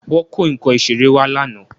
Wọ́n kó nǹkan ìṣeré wá lánàá